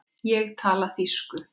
Ég tala þýsku!